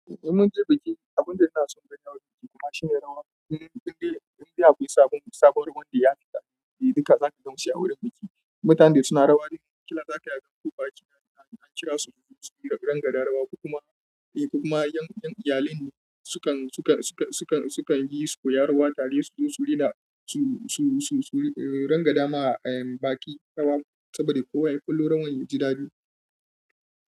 Mun je biki, abunda suna son gani a wurin biki kuma shine rawa. Indai akwai sabon sabon ruwan da ya fita, duka zaka ga musu a wurin biki. Mutanen da suna rawa ɗin ƙila zakayi a gan ko baƙi an kirasu suyi rangadan rawa, kuma ƴan iyalin sukan sukan sukan sukan yi koyar rawa tare su don su rina su su rangadama em. Baki rawa saboda kowa ya kallo rawan ya ji daɗi.